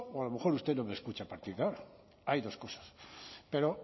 a lo mejor usted no me escucha hay dos cosas pero